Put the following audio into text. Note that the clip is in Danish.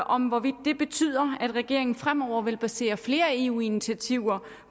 om hvorvidt det betyder at regeringen fremover vil basere flere eu initiativer